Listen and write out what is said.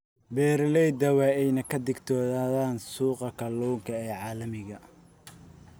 Beeralayda waa in ay ka digtoonaadaan suuqa kalluunka ee caalamiga ah.